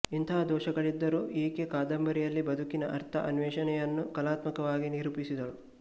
ಇಂಥ ದೋಷಗಳಿದ್ದರೂ ಈಕೆ ಕಾದಂಬರಿಯಲ್ಲಿ ಬದುಕಿನ ಅರ್ಥ ಅನ್ವೇಷಣೆಯನ್ನು ಕಲಾತ್ಮಕವಾಗಿ ನಿರೂಪಿಸಿದಳು